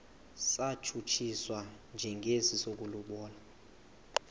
satshutshiswa njengesi sokulobola